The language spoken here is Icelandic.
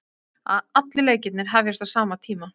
Allir leikirnir hefjast á sama tíma